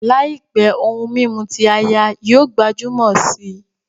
Làìpé, ohun mímu ti áyá yóò gbajúmọ̀ si